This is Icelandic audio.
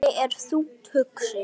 Svenni er þungt hugsi.